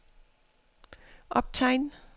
optegn